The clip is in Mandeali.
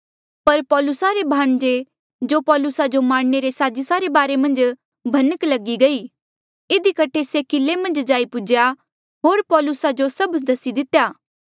पर पौलुसा रे भाणजे जो पौलुसा जो मारने रे साजिसा रे बारे मन्झ भनक लगी गई इधी कठे से किले मन्झ जाई पुज्हेया होर पौलुसा जो सभ कुछ दसी दितेया